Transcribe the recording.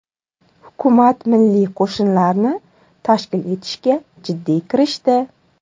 Hukumat milliy qo‘shinlarni tashkil etishga jiddiy kirishdi.